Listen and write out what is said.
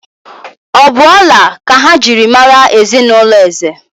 Ọ̀ bụ ọla ka ha ji mara ezinụlọ Eze?